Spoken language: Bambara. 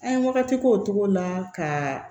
An ye wagati k'o cogo la ka